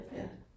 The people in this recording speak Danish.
Ja